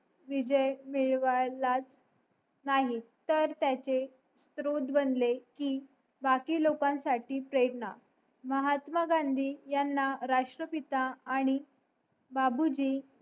विजय मिळवायलाच नाही तर त्याचे स्रोध बनले कि बाकी लोकांसाठी प्रेरणा महात्मा गांधी ह्यांना राष्ट्रपिता आणि बाबूजी